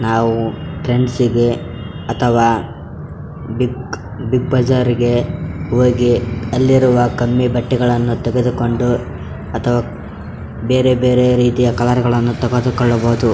ನಾವು ಫ್ರೆಂಡ್ಸ್ ಗೆ ಅಥವಾ ಬಿಗ್ ಬಿಗ್ ಬಜಾರ್ ಗೆ ಹೋಗಿ ಅಲ್ಲಿರುವ ಕಮ್ಮಿ ಬಟ್ಟೆಗಳನ್ನು ತೆಗೆದುಕೊಂಡು ಅಥವಾ ಬೇರೆ ಬೇರೆ ರೀತಿಯ ಕಲರ್ ಗಳನ್ನು ತೆಗೆದುಕೊಳ್ಳಬಹುದು .